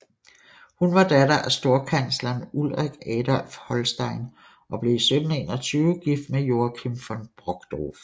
Hun var datter af storkansleren Ulrik Adolf Holstein og blev i 1721 gift med Joachim von Brockdorff